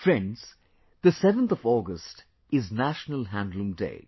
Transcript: Friends, the 7th of August is National Handloom Day